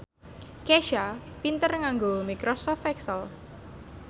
Kesha pinter nganggo microsoft excel